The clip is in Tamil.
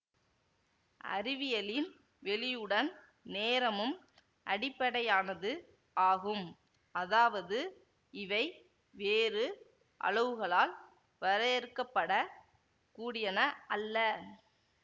அறிவியலில் வெளியுடன் நேரமும் அடிப்படையானது ஆகும் அதாவது இவை வேறு அளவுகளால் வரையறுக்கப்படக் கூடியன அல்ல